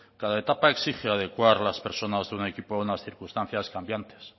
cada etapa exige adecuar las personas de un equipo a unas circunstancias cambiantes